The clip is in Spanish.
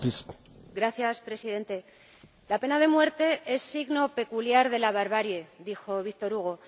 Señor Presidente, la pena de muerte es signo peculiar de la barbarie, dijo Víctor Hugo.